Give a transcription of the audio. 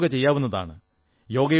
വീട്ടിലും യോഗ ചെയ്യാവുന്നതാണ്